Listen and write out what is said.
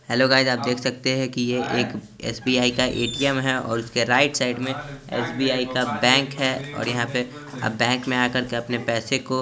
hello guys आप देख सकते है की ये एक एस_बी_आई का ऐ_टी_एम है और उसके राइट साइड में एस_बी_आई का बैंक है और यहां पे बैंक में आकर के अपने पैसे को --